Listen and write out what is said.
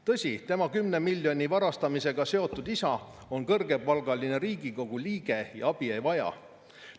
Tõsi, tema 10 miljoni varastamisega seotud isa on kõrgepalgaline Riigikogu liige ja abi ei vaja.